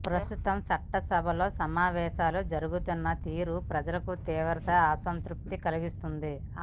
ప్రస్తుతం చట్టసభల సమావేశాలు జరుగుతున్న తీరు ప్రజలకు తీవ్ర అసంతృప్తిని కలిగిస్తోంది